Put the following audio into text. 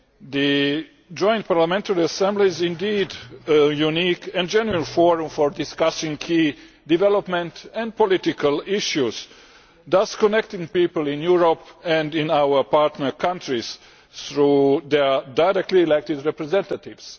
The Joint Parliamentary Assembly is indeed a unique and general forum for discussing key development and political issues, thus connecting people in Europe and in our partner countries through their directly elected representatives.